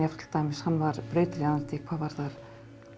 til dæmis hann var brautryðjandi hvað varðar